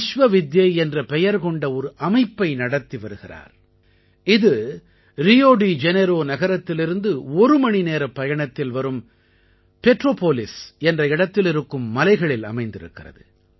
விஸ்வவித்யை என்ற பெயர் கொண்ட ஒரு அமைப்பை நடத்தி வருகிறார் இது ரியோ டி ஜெனேரோ நகரத்திலிருந்து ஒரு மணி நேரப் பயணத்தில் வரும் பெட்ரோபோலிஸ் என்ற இடத்தில் இருக்கும் மலைகளில் அமைந்திருக்கிறது